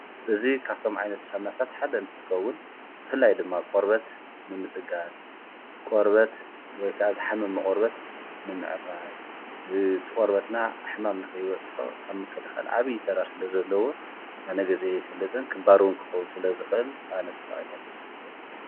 እዙይ ካብቶም ዓይነት ሳምናታት ሓደ እንትትከውን ብፍላይ ድማ ቖርበት ንምጽጋል ቖርበት ወይከኣዛ ሓመ መቖርበት ንምዕራይ ትቖርበትና ኣሕማምልኽ ይበጽሖ ኣብ ምከልኸል ዓብዪ ተራ ስለ ዘለዎ ኣነ ጊዜ ይፍልጥን ክባርውን ክኸዉን ስለ ዝኽል ኣነ ተጣዊሞሎ ይፈልጥን እየ::